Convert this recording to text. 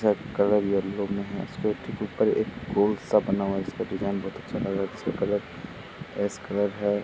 Colour yellow में है। के ऊपर एक गोल सा बनाय़ा हुआ हैं जिसकां डिजाइन बहुत अच्छा लग रहा है जिसका कलर एस् कलर है।